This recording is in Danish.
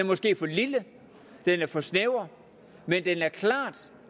måske for lille den er for snæver men det er klart